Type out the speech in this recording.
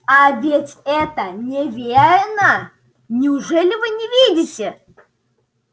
а ведь это неверно неужели вы не видите